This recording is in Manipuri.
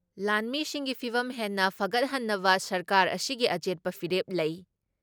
ꯂꯥꯟꯃꯤꯁꯤꯡꯒꯤ ꯐꯤꯚꯝ ꯍꯦꯟꯅ ꯐꯒꯠꯍꯟꯅꯕ ꯁꯔꯀꯥꯔ ꯑꯁꯤꯒꯤ ꯑꯆꯦꯠꯄ ꯐꯤꯔꯦꯞ ꯂꯩ ꯫